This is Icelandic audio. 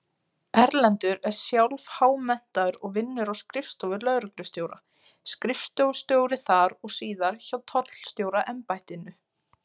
Erlendur er sjálf-há-menntaður og vinnur á skrifstofu lögreglustjóra, skrifstofustjóri þar og síðar hjá Tollstjóraembættinu.